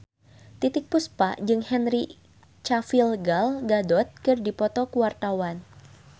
Titiek Puspa jeung Henry Cavill Gal Gadot keur dipoto ku wartawan